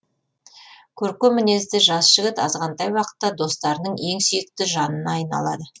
көркем мінезді жас жігіт азғантай уақытта достарының ең сүйікті жанына айналады